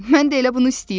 Mən də elə bunu istəyirəm.